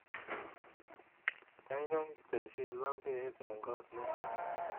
Gaigai teshi labkeiyet eng koot nitoni